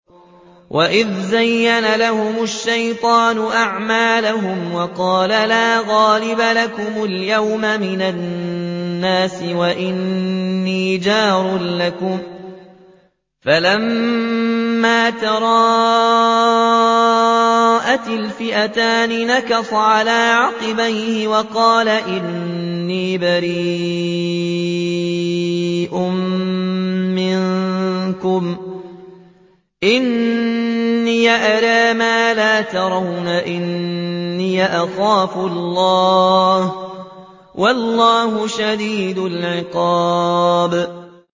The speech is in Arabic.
وَإِذْ زَيَّنَ لَهُمُ الشَّيْطَانُ أَعْمَالَهُمْ وَقَالَ لَا غَالِبَ لَكُمُ الْيَوْمَ مِنَ النَّاسِ وَإِنِّي جَارٌ لَّكُمْ ۖ فَلَمَّا تَرَاءَتِ الْفِئَتَانِ نَكَصَ عَلَىٰ عَقِبَيْهِ وَقَالَ إِنِّي بَرِيءٌ مِّنكُمْ إِنِّي أَرَىٰ مَا لَا تَرَوْنَ إِنِّي أَخَافُ اللَّهَ ۚ وَاللَّهُ شَدِيدُ الْعِقَابِ